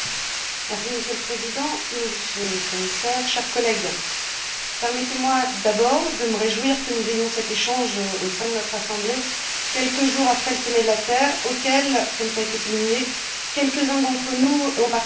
Monsieur le Président, Monsieur le Commissaire, chers collègues, permettez moi d'abord de me réjouir que nous ayons cet échange au sein de notre Assemblée quelques jours après le sommet de la Terre auquel, comme cela a été souligné, quelques uns d'entre nous ont participé.